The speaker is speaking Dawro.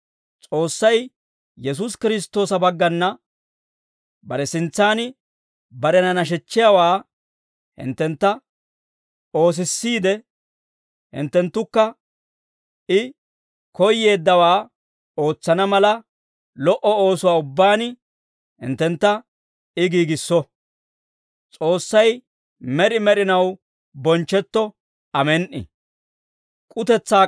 S'oossay Yesuusi Kiristtoosa baggana bare sintsan barena nashechchiyaawaa hinttentta oosissiidde, hinttenttukka I koyyeeddawaa ootsana mala, lo"o oosuwaa ubbaan hinttentta I giigisso; S'oossay med'i med'inaw bonchchetto. Amen"i.